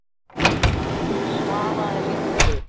Hún svaraði litlu.